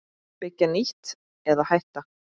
Byggja nýtt- eða hætta?